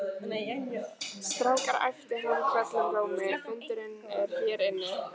Strákar æpti hann hvellum rómi, fundurinn er hér inni